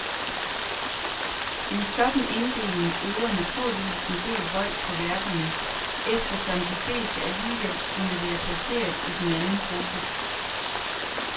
En sådan inddeling øver naturligvis en del vold på værkerne, eftersom de fleste alligevel kunne være placeret i den anden gruppe.